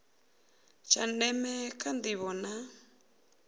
tsha ndeme kha ndivho na